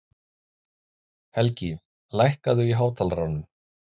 Helgi, lækkaðu í hátalaranum.